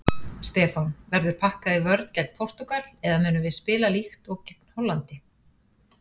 Stefán: Verður pakkað í vörn gegn Portúgal eða munum við spila líkt og gegn Hollandi?